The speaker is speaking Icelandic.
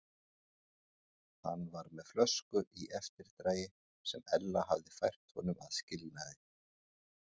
Hann var með flösku í eftirdragi sem Ella hafði fært honum að skilnaði.